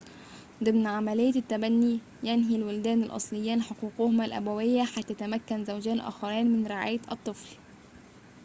ضمن عملية التبنّي ينهي الوالدان الأصليان حقوقهما الأبوية حتى يتمكن زوجان آخران من رعاية الطفل